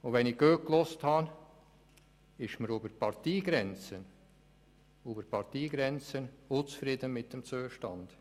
Wenn ich gut zugehört habe, ist man über die Parteigrenzen hinweg unzufrieden mit dem Zustand.